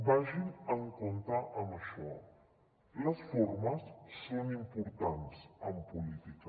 vagin en compte amb això les formes són importants en política